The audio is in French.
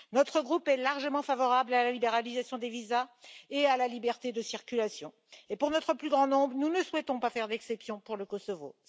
Notre groupe est largement favorable à la libéralisation des visas et à la liberté de circulation et pour notre plus grand nombre, nous ne souhaitons pas faire d'exception pour le Kosovo.